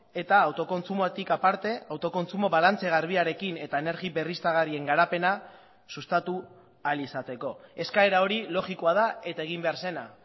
eta autokontsumotik aparte autokontsumo balantze garbiarekin eta energia berriztagarrien garapena sustatu ahal izateko eskaera hori logikoa da eta egin behar zena